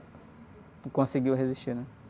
E conseguiu resistir, né?